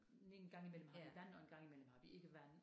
En gang imellem har vi vand og en gang imellem har vi ikke vand